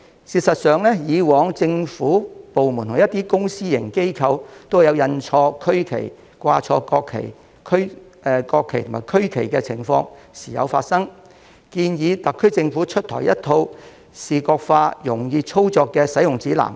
事實上，以往政府部門和一些公私營機構都曾印錯區旗，掛錯國旗和區旗的情況亦時有發生，我建議特區政府就此推出一套視覺化、容易操作的使用指南。